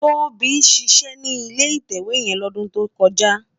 Tobi ṣiṣè ni ilé itèwé yèn lódùn tókòjá